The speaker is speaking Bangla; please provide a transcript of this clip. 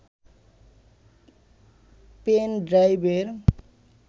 পেন ড্রাইভের